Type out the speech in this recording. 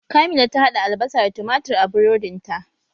Kamila ta haɗa albasa da tumatir a burodin ta